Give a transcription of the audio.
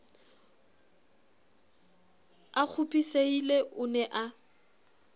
a kgopisehile o ne a